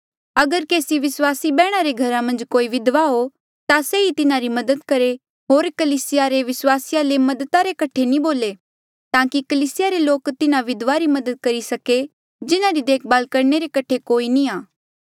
अगर केसी विस्वासी बैहणा रे घरा मन्झ कोई विधवा हो ता से ई तिन्हारी मदद करहे होर कलीसिया रे विस्वासिया ले मददा रे कठे नी बोले ताकि कलीसिया रे लोक तिन्हा विधवा री मदद करी सके जिन्हारी देखभाल करणे रे कठे कोई नी आ